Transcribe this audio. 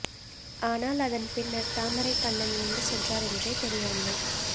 ஆனால் அதன் பின்னர் தாமரைக்கண்ணன் எங்கு சென்றார் என்றே தெரியவில்லை